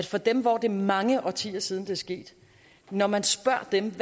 for dem hvor det er mange årtier siden at det er sket når man spørger dem